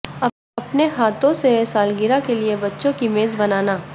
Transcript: اپنے ہاتھوں سے سالگرہ کے لئے بچوں کی میز بنانا